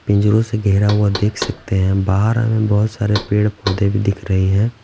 पिंजरों से घेरा हुआ देख सकते हैं बाहर हमें बहुत सारे पेड़-पौधे भी दिख रहे हैं।